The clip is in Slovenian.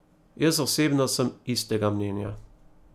Jaz osebno sem istega mnenja.